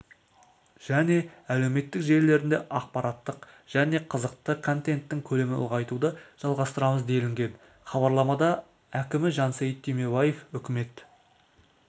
және әлеуметтік желілерінде ақпараттық және қызықты контенттің көлемін ұлғайтуды жалғастырамыз делінген хабарламада әкімі жансейіт түймебаев үкімет